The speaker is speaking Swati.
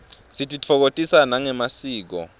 sititfokotisa nangemasiko